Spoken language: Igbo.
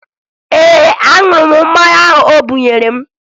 Ee, aṅụrụ m mmanya ahụ o bunyere m